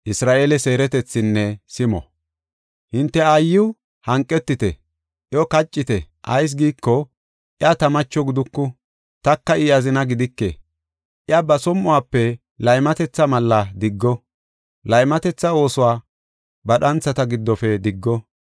“Hinte aayiw hanqetite; iyo kaccite. Ayis giiko, iya ta macho giduku; taka I azina gidike. Iya ba som7uwafe laymatetha mallaa diggo; laymatetha oosuwa ba dhanthata giddofe diggo.